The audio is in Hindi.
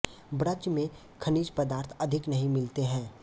ब्रज में खनिज पदार्थ अधिक नहीं मिलते हैं